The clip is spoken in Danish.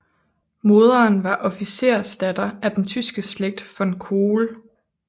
Moderen var officersdatter af den tyske slægt von Kohl